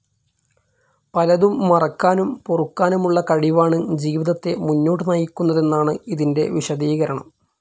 പലതും മറക്കാനും പൊറുക്കാനും ഉള്ള കഴിവാണ് ജീവിതത്തെ മുന്നോട്ട് നയിക്കുന്നതെന്നാണ് ഇതിന്റെ വിശദീകരണം.